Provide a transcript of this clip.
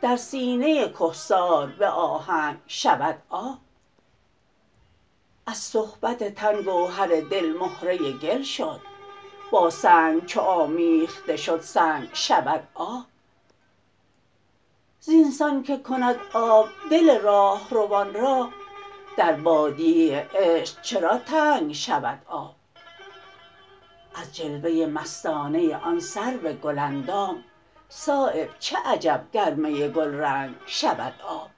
در سینه کهسار به آهنگ شود آب از صحبت تن گوهر دل مهره گل شد با سنگ چو آمیخته شد سنگ شود آب زینسان که کند آب دل راهروان را در بادیه عشق چرا تنگ شود آب از جلوه مستانه آن سرو گل اندام صایب چه عجب گر می گلرنگ شود آب